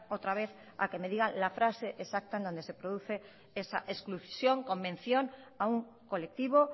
otra vez a que me digan la frase exacta en donde se produce esa exclusión o mención a un colectivo